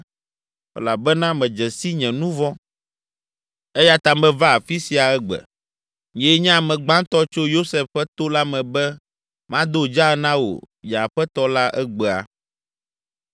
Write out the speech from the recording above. elabena medze si nye nu vɔ̃ eya ta meva afi sia egbe. Nyee nye ame gbãtɔ tso Yosef ƒe to la me be mado dzaa na wò nye aƒetɔ la egbea.”